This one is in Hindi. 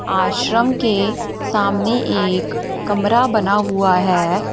आश्रम के सामने एक कमरा बना हुआ है।